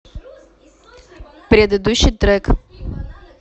предыдущий трек